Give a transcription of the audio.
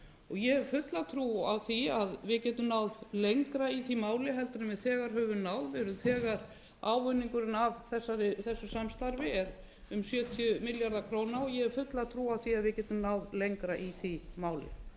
ég hef fulla trú á því að við getum náð lengra í því máli heldur en við þegar höfum náð við erum þegar ávinningurinn af þessu samstarfi er um sjötíu milljarðar króna ég hef fulla trú á því að við getum náð lengra í því máli